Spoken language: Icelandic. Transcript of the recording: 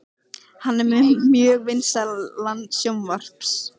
Hann er með mjög vinsælan sjónvarps